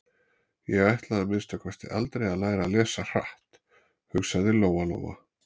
Ég ætla að minnsta kosti aldrei að læra að lesa hratt, hugsaði Lóa-Lóa.